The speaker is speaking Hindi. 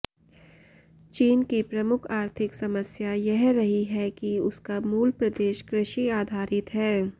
चीन की प्रमुख आर्थिक समस्या यह रही है कि उसका मूल प्रदेश कृषि आधारित है